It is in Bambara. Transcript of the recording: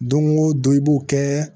Don o don i b'o kɛ